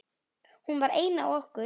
Hún var ein af okkur.